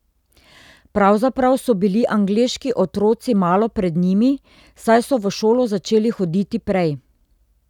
Pravzaprav so bili angleški otroci malo pred njimi, saj so v šolo začeli hoditi prej.